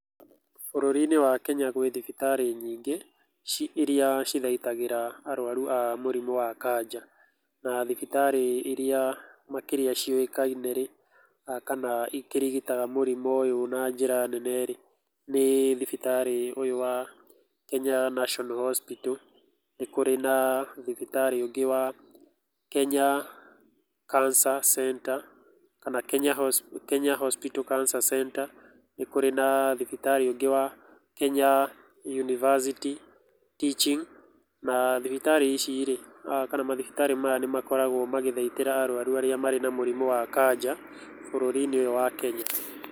Bũrũri-inĩ wa Kenya gwĩ thibitarĩ nyingĩ iria cithaitagĩra arũaru a mũrimũ wa kanja. Na thibitarĩ irĩa makĩria ciũĩkaine rĩ, kana ikĩrigitaga mũrimũ ũyũ na njĩra nene rĩ nĩ thibitarĩ ũyũ wa Kenya National Hospital, nĩ kũrĩ na thibitarĩ ũngĩ wa Kenya Cancer Center kana Kenya Hospital Cancer Center, nĩ kũrĩ na thibitarĩ ũngĩ wa Kenya University Teaching, na thibitarĩ ici rĩ kana mathibitarĩ maya ni makoragũo magĩthaitĩra arũaru arĩa marĩ na mũrimũ wa kanja bũrũri-inĩ ũyũ wa Kenya.